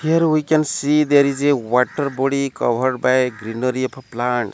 here we can see there is a water body covered by greenery of a plant.